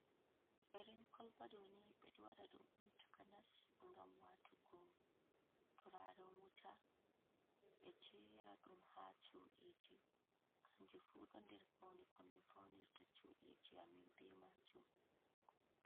Erin kolbaɗoni ɓe ɗo waɗa ɗum Un takanas gam wato go turaren wuta, be jera ɗum ha cuɗiji kanju fu ɗo nder faune ko min faunirta cudiji amin be ma jum.